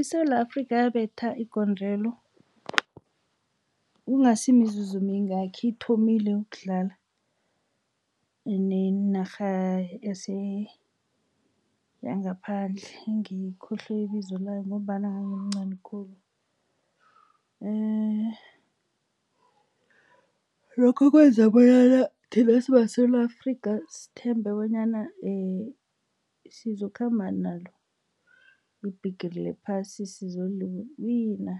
ISewula Afrika yabetha igondelo ingasimizuzu mingaki ithomile ukudlala nenarha yangaphandle ngiyikhohliwe ibizo layo ngombana ngangimncani khulu. Lokho kwenza bonyana thina simaSewula Afrika sithembe bonyana sizokukhamba nalo ibhigiri lephasi sizoliwina